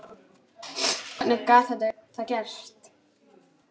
Hvernig gat það gerst?